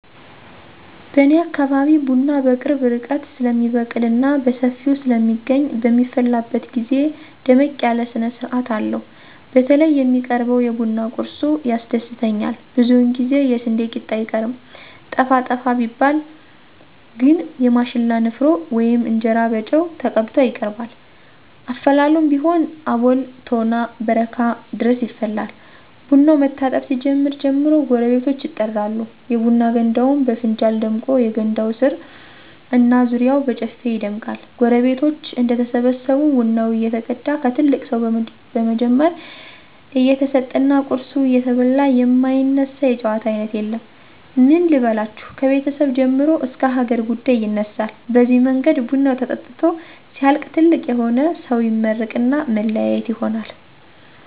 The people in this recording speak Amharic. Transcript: በኔ አካባቢ ቡና በቅርብ ርቀት ስለሚበቅልና በሰፊው ስለሚገኝ በሚፈላበት ግዜ ደመቅ ያለ ስነስርአት አለው። በተለይ የሚቀርበው የቡና ቁርሱ ያስደስተኛል ብዙውን ጊዜ የስንዴ ቂጣ አይቀርም። ጠፋ ጠፋ ቢባል ግን የማሽላ ንፍሮ ወይም እንጀራ በጨው ተቀብቶ ይቀርባል። አፈላሉም ቢሆን አቦል፣ ቶና፣ በረካ ድረስ ይፈላል። ቡናው መታጠብ ሲጀምር ጀምሮ ጎረቤቶች ይጠራሉ፤ የቡና ገንዳውም በፍንጃል ደምቆ የገንዳው ስር እና ዙሪያው በጨፌ ይደምቃል። ጎረቤቶች እንደተሰበሰቡ ቡናው እየተቀዳ ከትልቅ ሰው በመጀመር እየተሰጠና ቁርሱ እየተበላ የማይነሳ የጨዋታ አይነት የለም። ምን ልበላችሁ ከቤተሰብ ጀምሮ እስከ ሀገር ጉዳይ ይነሳል በዚህ መንገድ ቡናው ተጠጥቶ ሲያልቅ ትልቅ የሆነ ሰው ይመርቅና መለያየት ይሆናል።